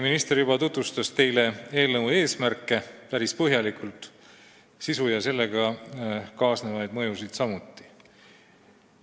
Minister juba tutvustas teile päris põhjalikult eelnõu eesmärke, sisu ja sellega kaasnevaid mõjusid samuti.